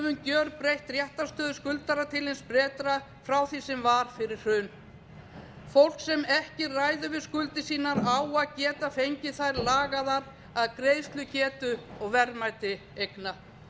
gjörbreytt réttarstöðu skuldara til hins betra frá því sem var fyrir hrun fólk sem ekki ræður við skuldir sínar á að geta fengið þær lagaðar að greiðslugetu og verðmæti eigna